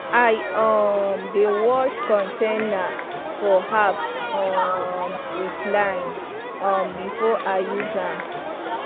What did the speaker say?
i um dey wash container for herbs um with lime um before i use am